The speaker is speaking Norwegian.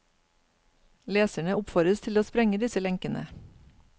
Leserne oppfordres til å sprenge disse lenkene.